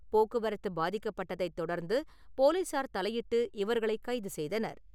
போக்குவரத்து பாதிக்கப்பட்டதைத் தொடர்ந்து போலீசார் தலையிட்டு இவர்களை கைது செய்தனர்.